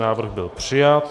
Návrh byl přijat.